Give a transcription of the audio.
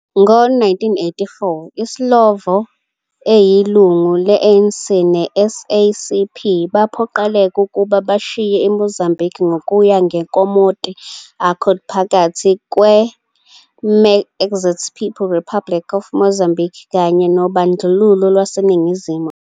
Ngo-1984, iSlovo, eyilungu le-ANC ne-SACP, baphoqeleka ukuba bashiye iMozambiki ngokuya ngeNkomati Accord phakathi kweMarxist People's Republic of Mozambique kanye nobandlululo lwaseNingizimu Afrika.